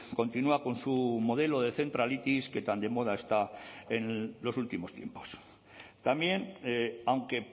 continúa con su modelo de centralitis que tan de moda está en los últimos tiempos también aunque